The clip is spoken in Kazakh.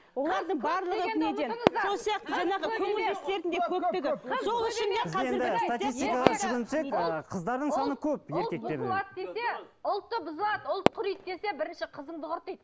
ұлтты бұзылады ұлтты құриды десе бірінші қызыңды құрт дейді